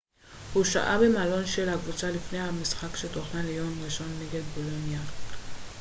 הוא שהה במלון של הקבוצה לפני המשחק שתוכנן ליום ראשון נגד בולוניה